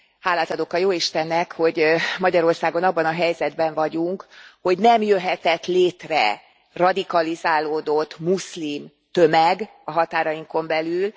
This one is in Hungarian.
Hálát adok a jóistennek, hogy Magyarországon abban a helyzetben vagyunk, hogy nem jöhetett létre radikalizálódott muszlim tömeg a határainkon belül.